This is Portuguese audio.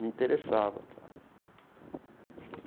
Me interessava tal.